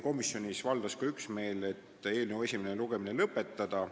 Komisjoni valdas üksmeel ka selles, et eelnõu esimene lugemine tuleks lõpetada.